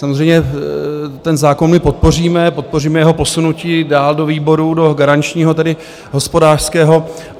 Samozřejmě ten zákon my podpoříme, podpoříme jeho posunutí dál do výboru, do garančního, tedy hospodářského.